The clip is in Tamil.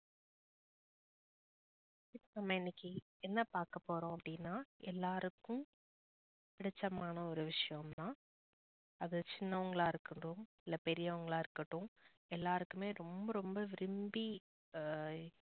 நம்ப இன்னைக்கு என்ன பாக்கபோறோம் அப்புடினா எல்லாருக்கும் புடுச்சமான ஒரு விஷயம் தான் அது சின்னவங்களா இருக்கடோம் இல்ல பெரியவங்களா இருக்கடோம் எல்லாருக்குமே ரொம்ப ரொம்ப விரும்பி அஹ்